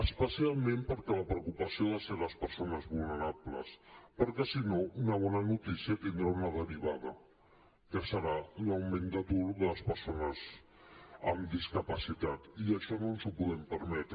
especialment perquè la preocupació han de ser les persones vulnerables perquè si no una bona notícia tindrà una derivada que serà l’augment d’atur de les persones amb discapacitat i això no ens ho podem permetre